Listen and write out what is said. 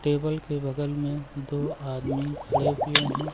Table के बगल में दो आदमी खड़े हुए हैं।